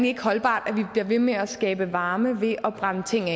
ikke holdbart at vi bliver ved med at skabe varme ved at brænde ting